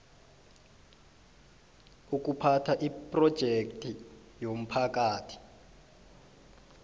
ukuphatha iphrojekthi yomphakathi